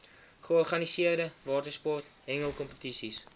georganiseerde watersport hengelkompetisies